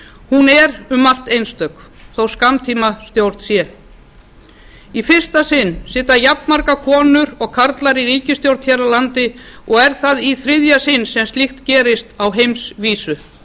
hún er um margt einstök þótt skammtímastjórn sé í fyrsta sinn sitja jafnmargar konur og karlar í ríkisstjórn hér á landi og er það í þriðja sinn sem slíkt gerist á heimsvísu